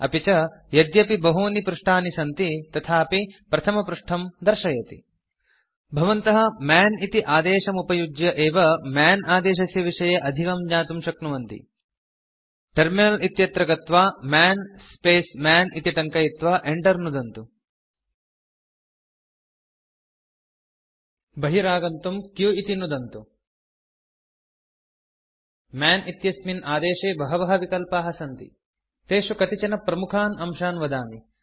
अपि च यद्यपि बहूनि पृष्ठानि सन्ति तथापि प्रथमपृष्ठं दर्शयति भवन्तः मन् इति आदेशमुपयुज्य एव मन् आदेशस्य विषये अधिकं ज्ञातुं शक्नुवन्ति टर्मिनल इत्यत्र गत्वा मन् स्पेस् मन् इति टङ्कयित्वा enter नुदन्तु बहिरागन्तुं q इति नुदन्तु मन् इत्यस्मिन् आदेशे बहवः विकल्पाः सन्ति तेषु कतिचन प्रमुखान् अंशान् वदामि